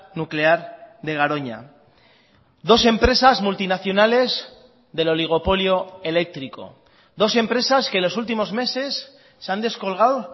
nuclear de garoña dos empresas multinacionales del oligopolio eléctrico dos empresas que en los últimos meses se han descolgado